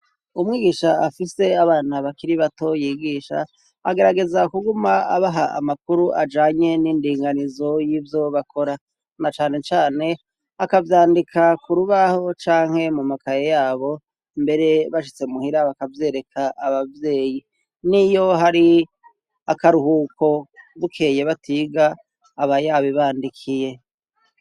umwigisha afise abana bakiri bato yigisha agerageza kuguma abaha amakuru ajanye n'indinganizo y'ivyo bakora na cane cane akavyandika ku rubaho canke mu makaye yabo mbere bashitse muhira bakavyereka ababyeyi niyo hari akaruhuko bukeye batiga abayabibandikiye